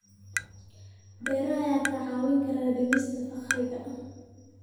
Beeraha ayaa kaa caawin kara dhimista faqriga.